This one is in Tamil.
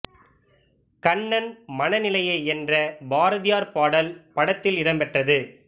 கண்ணன் மன நிலையை என்ற பாரதியார் பாடல் படத்தில் இடம்பெற்றது